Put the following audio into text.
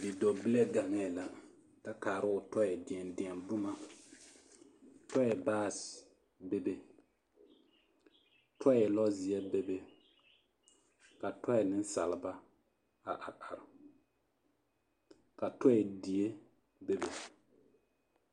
Bidɔɔbile ɡaŋɛɛ la kyɛ kaara o tɔɛ deɛdeɛ boma tɔɛ baase bebe tɔɛ lɔzeɛ bebe ka nensaleba a areare ka tɔɛ die bebe.